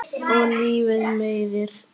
Og lífið meiðir.